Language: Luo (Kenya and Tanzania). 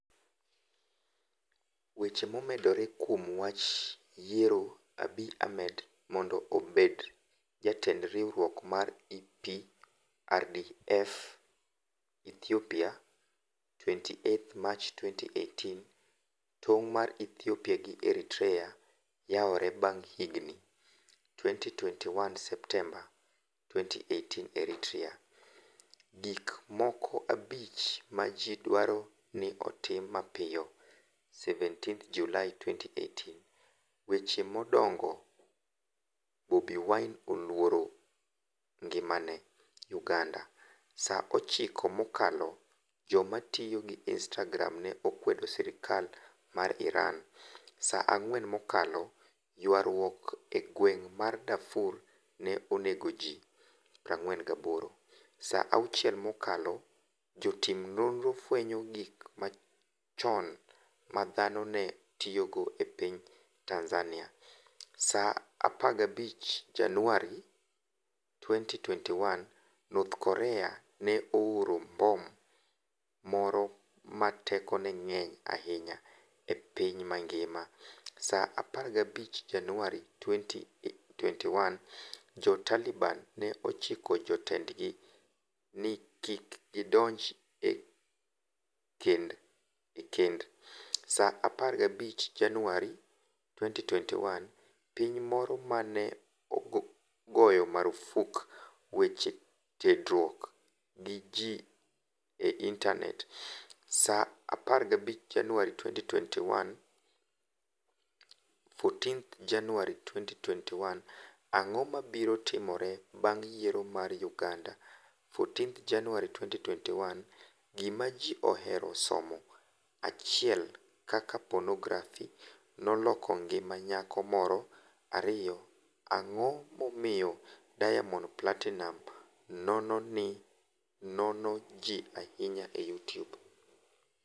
Weche momedore kuom wach yiero Abiy Ahmed mondo obed jatend riwruok mar EPRDF Ethiopia 28 Mach 2018 Tong' mag Ethiopia gi Eritrea yawore bang' higni 2011 Septemba 2018 Eritrea: Gik moko abich ma ji dwaro ni otim mapiyo 17 Julai 2018 Weche madongo Bobi Wine 'oluoro ngimane' UgandaSa 9 mokalo Joma tiyo gi Instagram ne okwedo sirkal mar IranSa 4 mokalo Ywaruok e gweng' mar Darfur ne onego ji 48Sa 6 mokalo Jotim nonro fwenyo gik machon ma dhano ne tiyogo e piny TanzaniaSa 15 Januar 2021 North Korea ne ooro mbom moro ma tekone ng'eny ahinya e piny mangimaSa 15 Januar 2021 Jo-Taliban ne ochiko jotendgi ni kik gidonj e kendSa 15 Januar 2021 Piny moro ma ne ogoyo marfuk weche tudruok gi ji e intanetSa 15 Januar 2021 14 Januar 2021 Ang'o mabiro timore bang' yiero mar Uganda? 14 Januar 2021 Gima Ji Ohero Somo 1 Kaka Ponografi Noloko Ngima Nyako Moro 2 Ang'o Momiyo Diamond Platinumz Nono Ji Ahinya e Youtube?